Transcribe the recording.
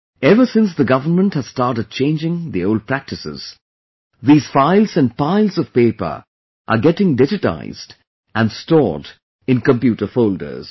Ever since the government has started changing the old practices, these files and piles of paper are getting digitized and stored in computer folders